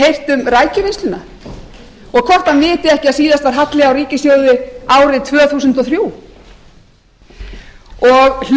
heyrt um rækjuvinnsluna og hvort hann viti ekki að síðast var halli á ríkissjóði árið tvö þúsund og þrjú og hlustaði